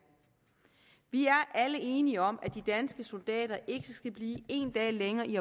vi er alle enige om at de danske soldater ikke skal blive en dag længere i